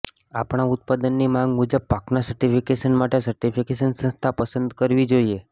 આપણા ઉત્પાદનની માંગ મુજબ પાકના સર્ટિફિકેશન માટે સર્ટિફિકેશન સંસ્થા પસંદ કરવી જોઈએ